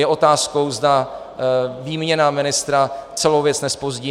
Je otázkou, zda výměna ministra celou věc nezpozdí.